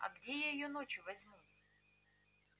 а где я её ночью возьму